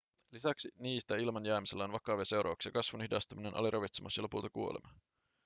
lisäksi niitä ilman jäämisellä on vakavia seurauksia kasvun hidastuminen aliravitsemus ja lopulta kuolema